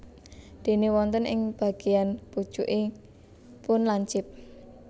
Déné wonten ing bageyan pucukipun lincip